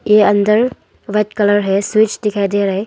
ये अंदर white colour है स्विच दिखाई दे रहा है।